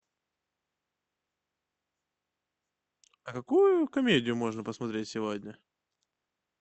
а какую комедию можно посмотреть сегодня